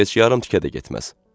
Heç yarım tükə də getməz.